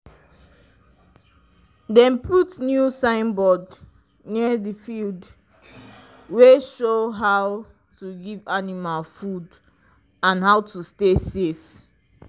dem put new signboard near the field wey show how to dey give animal food and how to stay safe